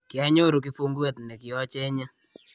kianyoru kifunguet nekiochenye